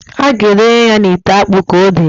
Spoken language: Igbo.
A ga edenye ya n'ite akpụ k' odee.